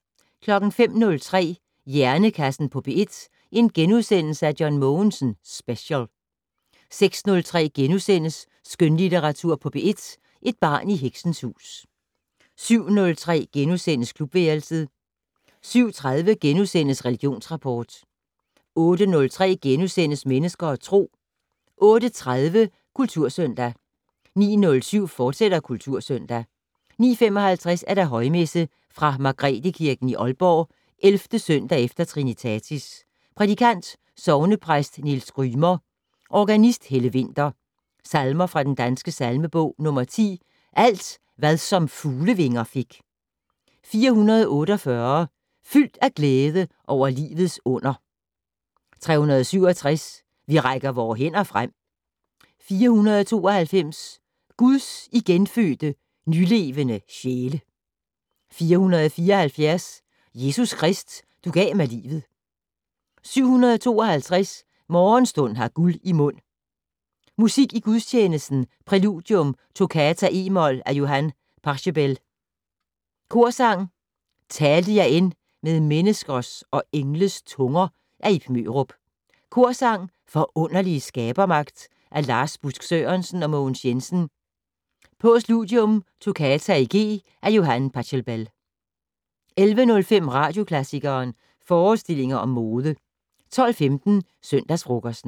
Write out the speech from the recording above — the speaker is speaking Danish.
05:03: Hjernekassen på P1: John Mogensen Special * 06:03: Skønlitteratur på P1: Et barn i heksens hus * 07:03: Klubværelset * 07:30: Religionsrapport * 08:03: Mennesker og Tro * 08:30: Kultursøndag 09:07: Kultursøndag, fortsat 09:55: Højmesse - Fra Margrethekirken i Aalborg. 11. søndag efter Trinitatis. Prædikant: Sognepræst Niels Grymer. Organist: Helle Winther. Salmer fra den danske salmebog: 10: "Alt, hvad som fuglevinger fik". 448: "Fyldt af glæde over livets under". 367: "Vi rækker vore hænder frem". 492: "Guds igenfødte, nylevende sjæle". 474: "Jesus Krist, du gav mig livet". 752: "Morgenstund har guld i mund". Musik i gudstjenesten: Præludium: "Toccata, e-mol" af Johann Pachelbel. Korsang: "Talte jeg end med menneskers og engles tunger" af Ib Mørup. Korsang: "Forunderlige skabermagt" af Lars Busk Sørensen og Mogens Jensen. Postludium: "Toccata i G " af Johann Pachelbel. 11:05: Radioklassikeren: Forestillinger om mode 12:15: Søndagsfrokosten